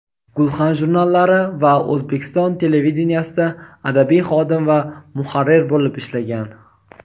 "Gulxan" jurnallari va O‘zbekiston televideniyesida adabiy xodim va muharrir bo‘lib ishlagan.